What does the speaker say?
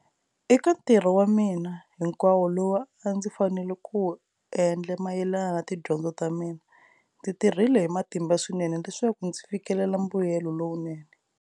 Eka nthirho wa mina hinkwawo lowu a ndzi fanele ku wu endla mayelana na tidyondzo ta mina, ndzi tirhile hi matimba swinene leswaku ndzi fikelela mbuyelo lowunene.